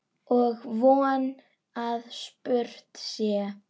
Og von að spurt sé.